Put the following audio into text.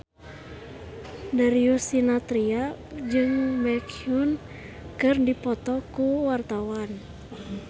Darius Sinathrya jeung Baekhyun keur dipoto ku wartawan